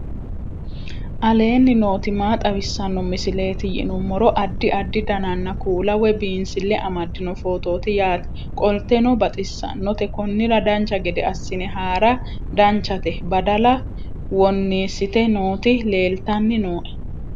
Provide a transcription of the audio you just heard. aleenni nooti maa xawisanno misileeti yinummoro addi addi dananna kuula woy biinsille amaddino footooti yaate qoltenno baxissannote konnira dancha gede assine haara danchate badala wonniissite nooti leeltanni nooe